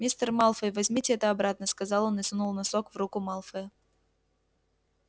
мистер малфой возьмите это обратно сказал он и сунул носок в руку малфоя